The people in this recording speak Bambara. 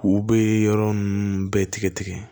U bɛ yɔrɔ ninnu bɛɛ tigɛ tigɛ